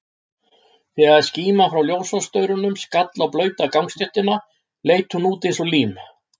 Þegar skíman frá ljósastaurunum skall á blauta gangstéttina, leit hún út eins og lím.